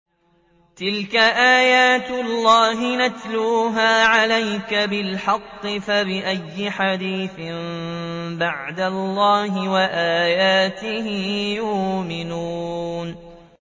تِلْكَ آيَاتُ اللَّهِ نَتْلُوهَا عَلَيْكَ بِالْحَقِّ ۖ فَبِأَيِّ حَدِيثٍ بَعْدَ اللَّهِ وَآيَاتِهِ يُؤْمِنُونَ